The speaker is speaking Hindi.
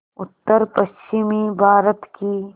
उत्तरपश्चिमी भारत की